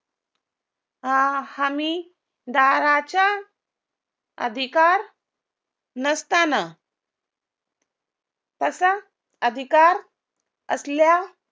हमी दाराच्या अधिकार नसताना तसा अधिकार असल्या